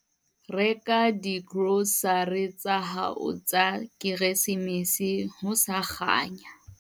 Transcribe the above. Reka digrosare tsa hao tsa Keresemese ho sa kganya.